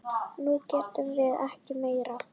Nú getum við ekki meir.